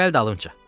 Gəl dalınca.